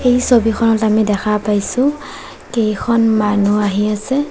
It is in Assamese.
এই ছবিখনত আমি দেখা পাইছোঁ কেইখন মানুহ আহি আছে।